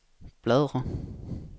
bladr